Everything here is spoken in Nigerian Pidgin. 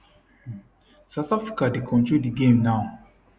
south africa dey control di game now